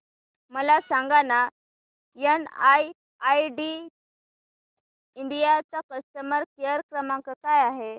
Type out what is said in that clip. मला सांगाना NIIT India चा कस्टमर केअर क्रमांक काय आहे